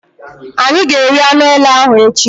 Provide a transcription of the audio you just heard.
Ányi ga-eri anụ èlé ahụ echi